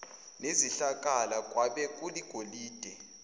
nezihlakala kwabe kuligolide